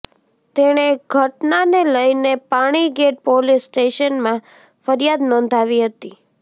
તેણે ઘટનાને લઈને પાણીગેટ પોલીસ સ્ટેશનમાં ફરિયાદ નોંધાવી હતી